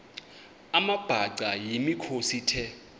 amabhaca yimikhosi the